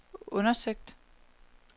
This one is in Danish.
undersøgt